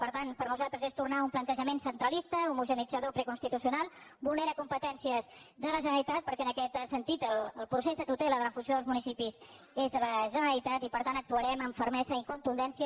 per tant per nosaltres és tornar a un plantejament centralista homogeneïtzador preconstitucional vulnera competències de la generalitat perquè en aquest sentit el procés de tutela de la fusió dels municipis és de la generalitat i per tant actuarem amb fermesa i contundència